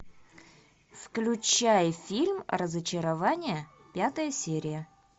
включай фильм разочарование пятая серия